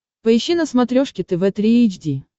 поищи на смотрешке тв три эйч ди